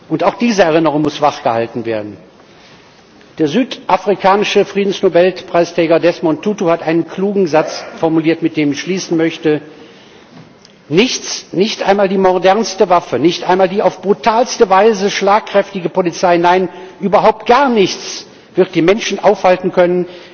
Und auch diese Erinnerung muss wachgehalten werden. Der südafrikanische Friedensnobelpreisträger Desmond Tutu hat einen klugen Satz formuliert, mit dem ich schließen möchte Nichts, nicht einmal die modernsten Waffen, nicht einmal die auf brutalste Weise schlagkräftige Polizei, nein, überhaupt gar nichts wird die Menschen aufhalten können,